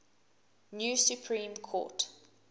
new supreme court